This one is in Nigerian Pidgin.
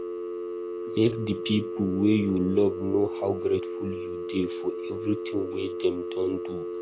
Make di pipo wey you love know how grateful you dey for everything wey dem don do